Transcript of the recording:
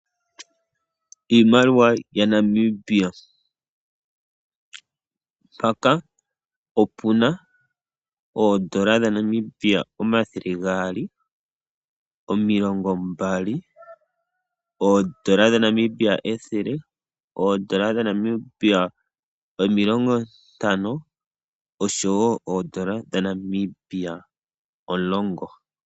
Iimaliwa yaNamibia paka opuna oondola dhaNamibia omathele gaali, omilongo mbali, oondola dhaNamibia ethele, oondola dhaNamibia omilongo tano osho wo oondola dhaNamibia olongo.